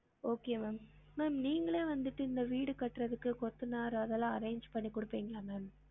Okay ma'am ma'am நீங்களே வந்திட்டு இந்த வீடு கட்டுறதுக்கு கொத்தனார் அதெல்லாம் arrange பண்ணி குடுப்பிங்களா ma'am